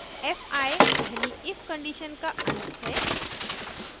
fi पहली if condition का अंत है